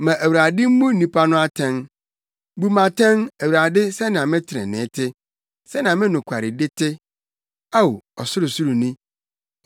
ma Awurade mmu nnipa no atɛn. Bu me atɛn, Awurade sɛnea me trenee te, sɛnea me nokwaredi te, Ao, Ɔsorosoroni.